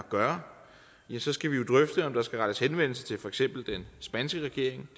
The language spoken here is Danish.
gøre ja så skal vi jo drøfte om der skal rettes henvendelse til for eksempel den spanske regering